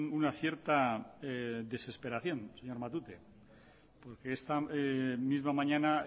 una cierta desesperación señor matute porque esta misma mañana